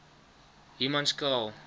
humanskraal